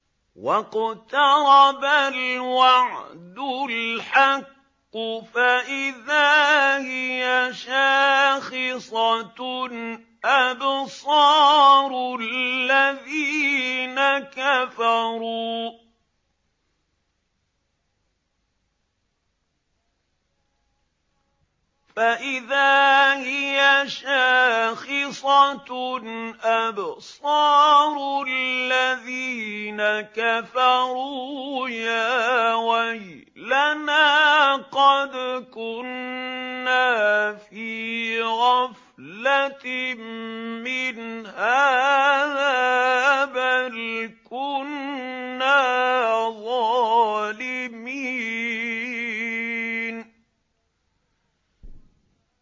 وَاقْتَرَبَ الْوَعْدُ الْحَقُّ فَإِذَا هِيَ شَاخِصَةٌ أَبْصَارُ الَّذِينَ كَفَرُوا يَا وَيْلَنَا قَدْ كُنَّا فِي غَفْلَةٍ مِّنْ هَٰذَا بَلْ كُنَّا ظَالِمِينَ